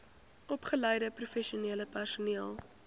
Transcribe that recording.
opgeleide professionele personeel